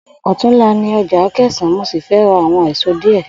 Ò̩túnla ni o̩jà Akè̩sán mo sì fé̩ ra àwo̩n èso díè̩